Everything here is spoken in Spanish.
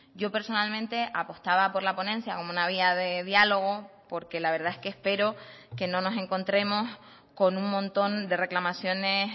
yo personalmente apostaba por la ponencia como una vía de diálogo porque la verdad es que espero que no nos encontremos con un montón de reclamaciones